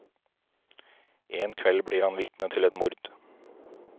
En kveld blir han vitne til et mord.